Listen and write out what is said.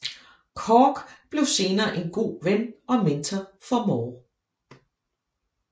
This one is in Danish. Cork blev senere en god ven og mentor for Moore